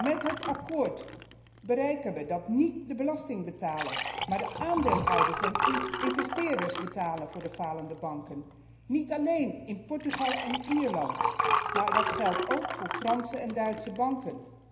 Met het akkoord bereiken wij dat niet de belastingbetaler, maar de aandeelhouders en investeerders betalen voor de falende banken. Dat geldt niet alleen in Portugal en Ierland, maar ook voor Franse en Duitse banken.